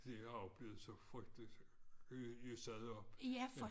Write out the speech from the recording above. De har oplevet så frygteligt huset der oppe